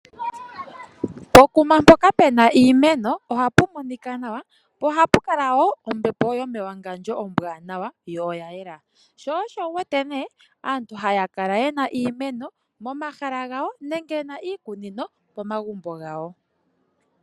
Pokuma mpoka puna iimeno ohapu monika nawa, po ohapu kala woo ombepo yomewangandjo ombwaanawa yo oya yela, so osho wuwete nee aantu haya kala yena iimeno momahala gawo nenge yena iikunino momagumbo gawo.